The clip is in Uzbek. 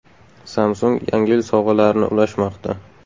Samsung Yangi yil sovg‘alarini ulashmoqda!.